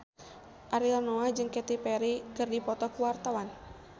Ariel Noah jeung Katy Perry keur dipoto ku wartawan